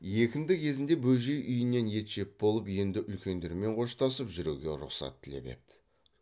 екінті кезінде бөжей үйінен ет жеп болып енді үлкендермен қоштасып жүруге рұқсат тілеп еді